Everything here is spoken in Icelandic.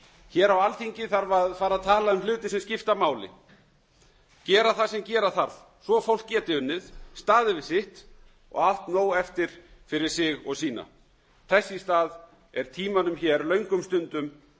hér á alþingi þarf að fara að tala um hluti sem skipta máli gera það sem gera þarf svo fólk geti unnið staðið við sitt og haft nóg eftir fyrir sig og sína þess í stað er tímanum hér löngum stundum